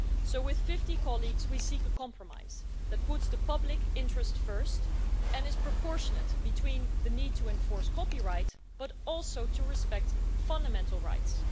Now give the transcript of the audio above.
So with 50 colleagues we seek a compromise that puts the public interest first and is proportionate between the need to enforce copyright but also to respect fundamental rights.